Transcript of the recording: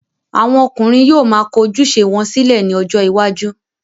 àwọn ọkùnrin yóò ma kọ ojúṣe wọn sílẹ̀ ní ọjọ́ iwájú.